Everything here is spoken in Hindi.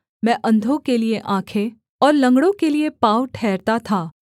मैं अंधों के लिये आँखें और लँगड़ों के लिये पाँव ठहरता था